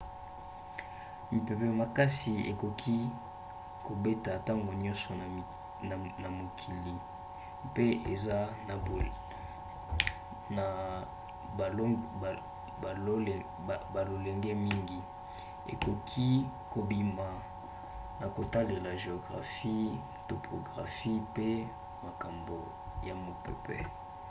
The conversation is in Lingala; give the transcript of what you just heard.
mipepe makasi ekoki kobeta ntango nyonso na mokili mpe eza na balolenge mingi ekoki kobima na kotalela géographie topographie pe makambo ya mopepe